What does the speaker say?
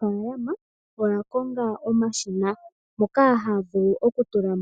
Aanikunino oyakonga omashina moka haatula